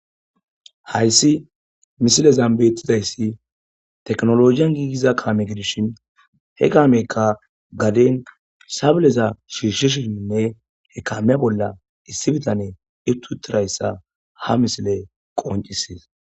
hayssi misilezan betidayssi teknoloje ogiyan giigiza kaame gidishin he kaameyka gaden sabeleza shishishininne he kameya bolla issi bitane iqqi uttidayssa ha misile qoncisees.